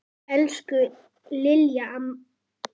Elsku Lilla amma mín.